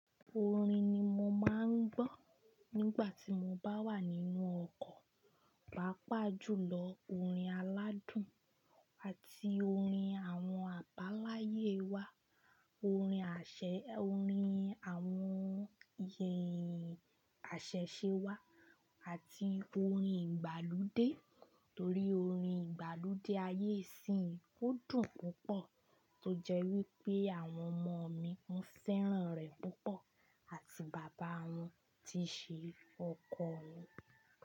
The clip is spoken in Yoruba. Orin ni mo máa ń gbọ́ nígbà tí mo bá wà nínú ọkọ̀, pàápàá jùlọ orin aládùn àti orin àwọn àbáláyé wa, orin àṣẹ, orin àwọn iyì àṣẹ̀ṣe wa àti orin ìgbàlódé torí orin ìgbàlódé ayé síyìn kò dùn púpọ̀ tó jẹ́ wípé àwọn ọmọ mi ń fẹ́ràn rẹ̀ púpọ̀ àti bàbá wọn ti ṣe ọkọ̀ mi.